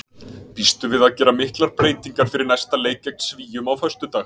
Býstu við að gera miklar breytingar fyrir næsta leik gegn Svíum á föstudag?